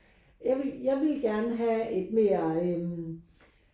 Jeg vil jeg vil gerne have et mere øh